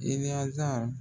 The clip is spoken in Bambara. Ibiyazaar